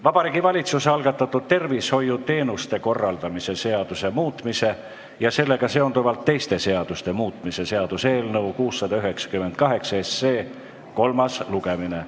Vabariigi Valitsuse algatatud tervishoiuteenuste korraldamise seaduse muutmise ja sellega seonduvalt teiste seaduste muutmise seaduse eelnõu 698 kolmas lugemine.